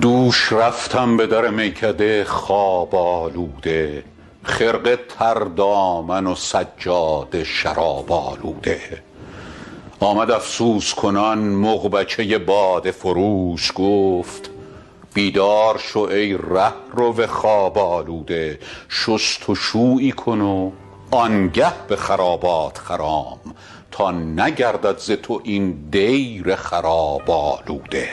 دوش رفتم به در میکده خواب آلوده خرقه تر دامن و سجاده شراب آلوده آمد افسوس کنان مغبچه باده فروش گفت بیدار شو ای رهرو خواب آلوده شست و شویی کن و آن گه به خرابات خرام تا نگردد ز تو این دیر خراب آلوده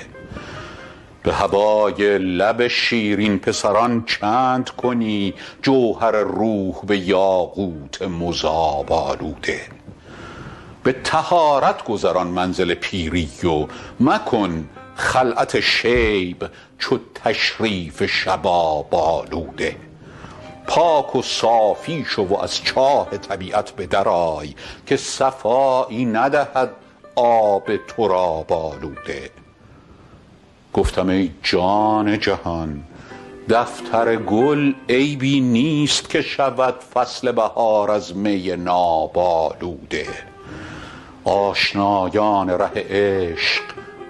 به هوای لب شیرین پسران چند کنی جوهر روح به یاقوت مذاب آلوده به طهارت گذران منزل پیری و مکن خلعت شیب چو تشریف شباب آلوده پاک و صافی شو و از چاه طبیعت به در آی که صفایی ندهد آب تراب آلوده گفتم ای جان جهان دفتر گل عیبی نیست که شود فصل بهار از می ناب آلوده آشنایان ره عشق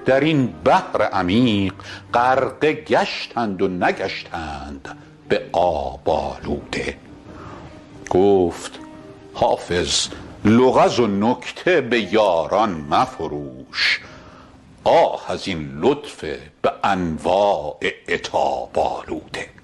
در این بحر عمیق غرقه گشتند و نگشتند به آب آلوده گفت حافظ لغز و نکته به یاران مفروش آه از این لطف به انواع عتاب آلوده